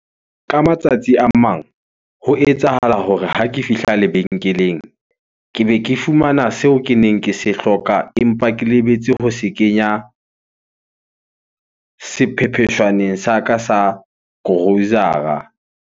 Ka matsatsi a mang ho etsahala hore ha ke fihla lebenkeleng, ke be ke fumana seo keneng ke se hloka empa ke lebetse ho se kenya sephepheshwaneng sa ka sa grocer-a.